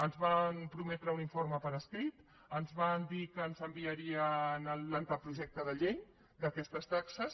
ens van prometre un informe per escrit ens van dir que ens enviarien l’avantprojecte de llei d’aquestes taxes